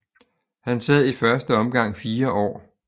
Han sad i første omgang fire år